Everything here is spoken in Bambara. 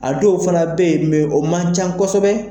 A dɔw fana bɛ yen o man ca kosɛbɛ